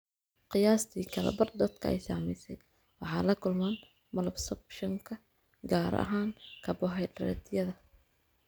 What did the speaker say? Qiyaastii kala badh dadka ay saamaysay waxay la kulmaan malabsorptionka, gaar ahaan karbohaydraytyada.